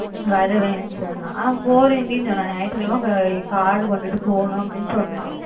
வருவேன்னு சொன்னா ஆஹ் போறேண்டி சொன்னா ஞாயிற்று கிழமை card கொண்டுட்டு போகணும்ன்னு சொன்னா